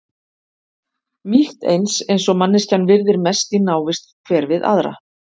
Mýkt eins eins og manneskjan virðir mest í návist hver við aðra.